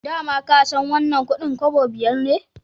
Da ma ka san wannan kudin kobo biyar ne